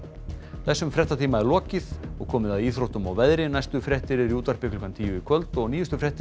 þessum fréttatíma er lokið og komið að íþróttum og veðri næstu fréttir eru í útvarpi klukkan tíu í kvöld og nýjustu fréttir